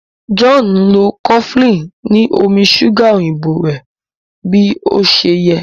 John nlọ cofflin ni omí ṣuga òyìnbó rẹ bí ọṣẹ yé.